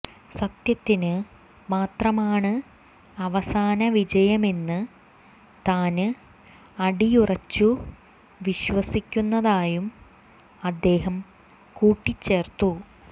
സത്യത്തിന് മാത്രമാണ് അവസാന വിജയമെന്ന് താന് അടിയുറച്ചു വിശ്വസിക്കുന്നതായും അദ്ദേഹം കൂട്ടിച്ചേര്ത്തു